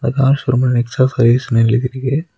இந்த கார் ஷோரூம்ல நெக்ஸா சர்வீஸ்னு எழுதி இருக்கு.